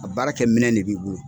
A baara kɛminɛn de b'i bolo.